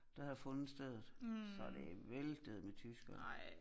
Der havde fundet stedet så det væltede med tyskere